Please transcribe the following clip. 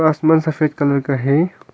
आसमान सफेद कलर का है।